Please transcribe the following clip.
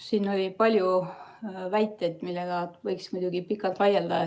Siin oli palju väiteid, millega võiks muidugi pikalt vaielda.